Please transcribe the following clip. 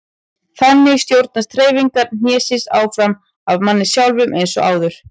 Þannig stjórnast hreyfingar hnésins áfram af manni sjálfum eins og áður.